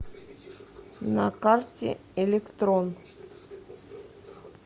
на карте электрон